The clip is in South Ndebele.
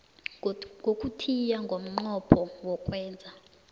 yokuthiya ngomnqopho wokwenza